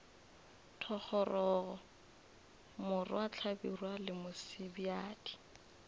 thogorogo morwa hlabirwa le mosebjadi